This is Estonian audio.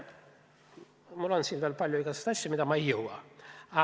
Mul oleks rääkida veel palju igasuguseid asju, ent ma ei jõua seda teha.